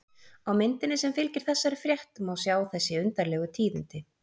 Á myndinni sem fylgir þessari frétt má sjá þessi undarlegu tíðindi.